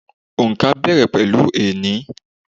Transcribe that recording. Òǹkà bẹ̀rẹ̀ láti ení.